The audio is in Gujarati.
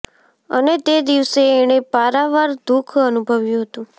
અને તે દિવસે એણે પારાવાર દુઃખ અનુભવ્યું હતું